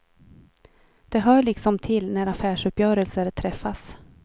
Det hör liksom till när affärsuppgörelser träffas.